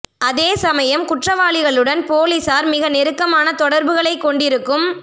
அதே சமயம் குற்றவா ளிகளுடன் பொலிஸார் மிக நெருக்கமான தொடர்புகளை கொண்டிருக்கும்